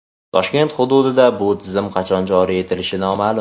Toshkent hududida bu tizim qachon joriy etilishi noma’lum.